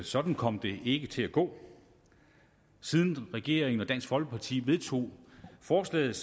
sådan kom det ikke til at gå siden regeringen og dansk folkeparti vedtog forslaget